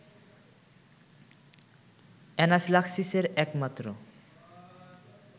অ্যানাফিল্যাক্সিসের একমাত্র